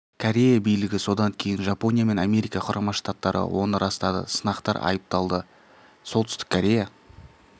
корея билігі содан кейін жапония мен америка құрама штаттары оны растады сынақтар айыпталды солтүстік корея